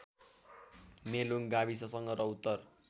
मेलुङ गाविससँग र उत्तर